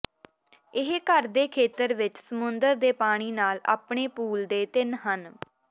ਇਹ ਘਰ ਦੇ ਖੇਤਰ ਵਿੱਚ ਸਮੁੰਦਰ ਦੇ ਪਾਣੀ ਨਾਲ ਆਪਣੇ ਪੂਲ ਦੇ ਤਿੰਨ ਹਨ